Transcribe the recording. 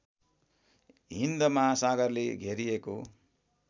हिन्द महासागरले घेरिएको